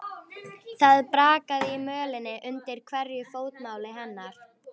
Það brakaði í mölinni undir hverju fótmáli hennar.